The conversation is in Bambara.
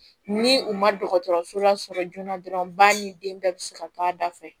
Ni u ma dɔgɔtɔrɔso lasɔrɔ joona dɔrɔn ba ni den bɛɛ bɛ se ka to a da fɛ